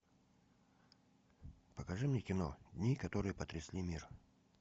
покажи мне кино дни которые потрясли мир